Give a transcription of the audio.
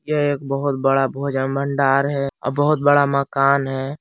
यह एक बहुत बड़ा भोजन भंडार है और बहुत बड़ा मकान है ।